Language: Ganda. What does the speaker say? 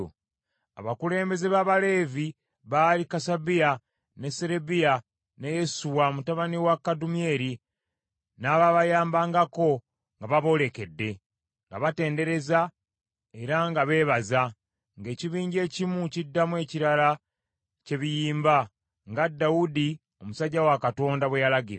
Abakulembeze b’Abaleevi baali: Kasabiya, ne Serebiya, ne Yesuwa mutabani wa Kadumyeri, n’abaabayambangako nga baboolekedde, nga batendereza era nga beebaza, ng’ekibinja ekimu kiddamu ekirala kye biyimba, nga Dawudi omusajja wa Katonda bwe yalagira.